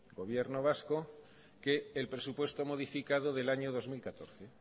gobierno vasco que el presupuesto modificado del año dos mil catorce